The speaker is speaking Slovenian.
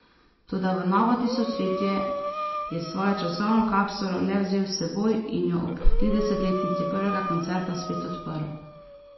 Toda v novo tisočletje je svojo časovno kapsulo le vzel s seboj in jo ob tridesetletnici prvega koncerta spet odprl.